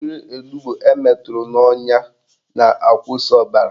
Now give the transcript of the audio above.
Mmiri onugbo emeturu n'ọnya na-akwụsị ọbara